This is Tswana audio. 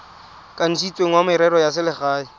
kanisitsweng wa merero ya selegae